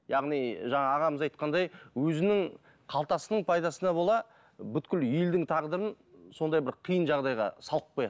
яғни жаңа ағамыз айтқандай өзінің қалтасының пайдасына бола елдің тағдырын сондай бір қиын жағдайға салып қояды